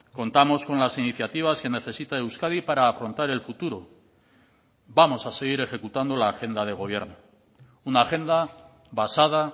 contamos con las iniciativas que necesita euskadi para afrontar el futuro vamos a seguir ejecutando la agenda de gobierno una agenda basada